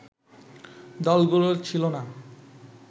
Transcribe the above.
দলগুলোর ছিল না